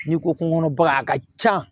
N'i ko kungo kɔnɔ ba a ka ca